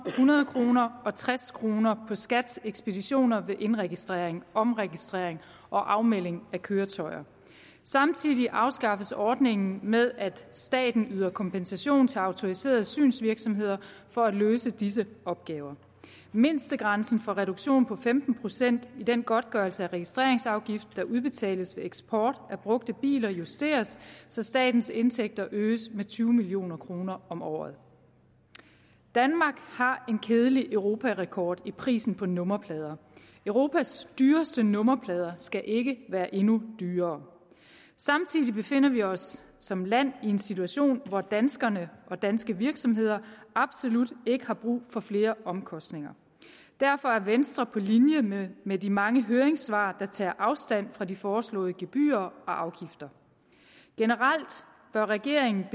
hundrede kroner og tres kroner på skats ekspeditioner ved indregistrering omregistrering og afmelding af køretøjer samtidig afskaffes ordningen med at staten yder kompensation til autoriserede synsvirksomheder for at løse disse opgaver mindstegrænsen for reduktion på femten procent i den godtgørelse af registreringsafgift der udbetales ved eksport af brugte biler justeres så statens indtægter øges med tyve million kroner om året danmark har en kedelig europarekord i prisen på nummerplader europas dyreste nummerplader skal ikke være endnu dyrere samtidig befinder vi os som land i en situation hvor danskerne og danske virksomheder absolut ikke har brug for flere omkostninger derfor er venstre på linje med de mange høringssvar der tager afstand fra de foreslåede gebyrer og afgifter generelt bør regeringen